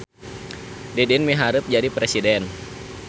Didin miharep jadi presiden